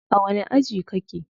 A wani aji kake?